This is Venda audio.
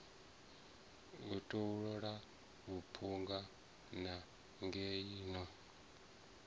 u tolou mphunga nangweni no